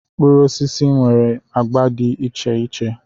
Mkpụrụ osisi nwere agba dị iche iche.